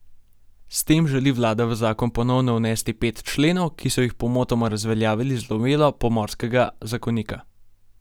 S tem želi vlada v zakon ponovno vnesti pet členov, ki so jih pomotoma razveljavili z novelo pomorskega zakonika.